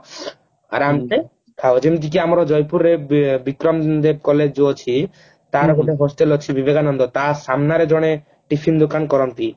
ଆରାମ ସେ ଆଉ ଯେମତି କି ଆମର ଜୟପୁର ରେ ବିକ୍ରମ ଦତ୍ତ collage ଯୋଉ ଅଛି ତାର ଗୋଟେ hostel ଅଛି ବିବେକାନନ୍ଦ ତା ସାମ୍ନାରେ ଜଣେ tiffin ଦୋକାନ କରନ୍ତି